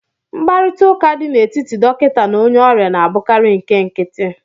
Mkparịta ụka dị n'etiti dọkịta na onye ọrịa na-abụkarị nke nkịtị